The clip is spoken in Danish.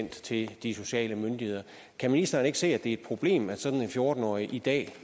til de sociale myndigheder kan ministeren ikke se det er et problem at sådan en fjorten årig i dag